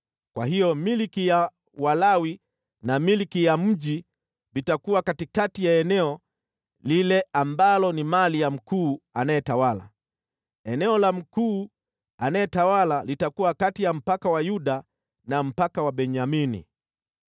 Kwa hiyo milki ya Walawi na milki ya mji vitakuwa katikati ya eneo lile ambalo ni mali ya mkuu anayetawala. Eneo la mkuu anayetawala litakuwa kati ya mpaka wa Yuda na mpaka wa Benyamini.